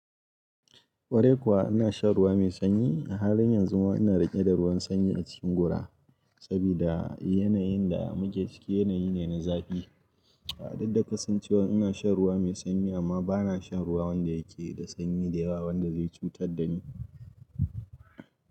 Kwarai kuwa ina shan ruwa mai sanyi, a halin yanzu ma ina riƙe da ruwan sanyi a cikin gora sabida yanayin da muke ciki yanayi ne na zafi. A duk da kasancewar ina shan ruwa mai sanyi amma bana shan ruwa wanda yake da sanyi da yawa wanda zai cutar da ni.